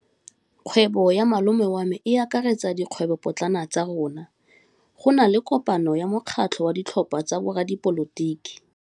Kgwêbô ya malome wa me e akaretsa dikgwêbôpotlana tsa rona. Go na le kopanô ya mokgatlhô wa ditlhopha tsa boradipolotiki.